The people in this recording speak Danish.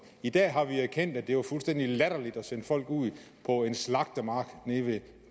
i dag har vi erkendt at det var fuldstændig latterligt at sende folk ud på en slagtemark nede ved